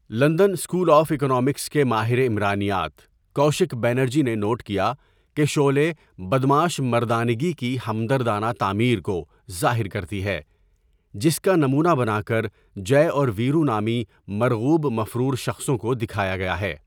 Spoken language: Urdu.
لندن سکول آف اکنامکس کے ماہر عمرانیات، کوشک بنرجی نے نوٹ کیا کہ شعلے ''بدمعاش' مردانگی کی ہمدردانہ تعمیر' کو ظاہر کرتی ہے جس کا نمونہ بنا کر جئے اور ویرو نامی مرغوب مفرور شخصوں کو دکھایا گیا ہے۔